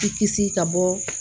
Ti kisi ka bɔ